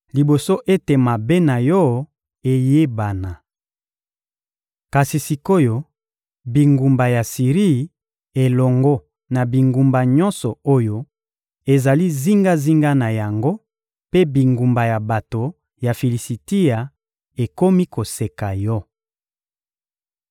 liboso ete mabe na yo eyebana. Kasi sik’oyo, bingumba ya Siri elongo na bingumba nyonso oyo ezali zingazinga na yango mpe bingumba ya bato ya Filisitia ekomi koseka yo.